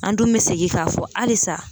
An dun be segin k'a fɔ halisa